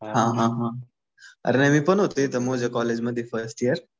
हा हा हा. अरे नाही मी पण होत तिथं मोजे कॉलेजला फर्स्ट इयर.